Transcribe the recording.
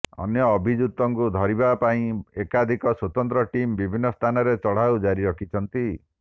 ଅନ୍ୟ ଅଭିଯୁକ୍ତଙ୍କୁ ଧରିବା ପାଇଁ ଏକାଧିକ ସ୍ବତନ୍ତ୍ର ଟିମ୍ ବିଭିନ୍ନ ସ୍ଥାନରେ ଚଢଉ ଜାରି ରଖିଛନ୍ତି